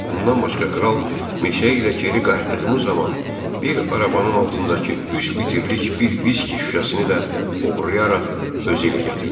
Bundan başqa kral meşə ilə geri qayıtdığımız zaman bir arabanın altındakı üç litrlik bir viski şüşəsini də oğurlayaraq özü ilə gətirmişdi.